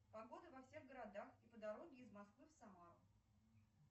погода во всех городах и по дороге из москвы в самару